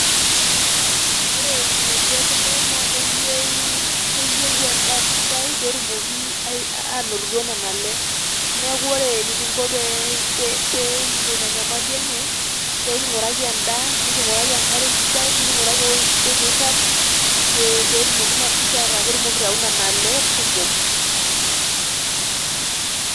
Ore nkinejik e kule naa keiyeu, keiyeu endaa sidai pee tumooki anontito nanelee. Naa kore eneking'o pee king'oo enyamali enye pee king'uraki endaa, niking'uraki nkaree sidai, niking'uraki ojii sidai neiraang' pee tumooki naa si ninche araake mukurauna nale kumook.